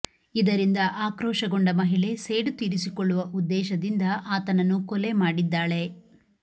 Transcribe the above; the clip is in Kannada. ಇದರಿಂದ ಆಕ್ರೋಶಗೊಂಡ ಮಹಿಳೆ ಸೇಡು ತೀರಿಸಿಕೊಳ್ಳುವ ಉದ್ದೇಶದಿಂದ ಆತನನ್ನು ಕೊಲೆ ಮಾಡಿದ್ದಾಳೆ